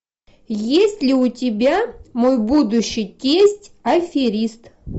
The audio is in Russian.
есть ли у тебя мой будущий тесть аферист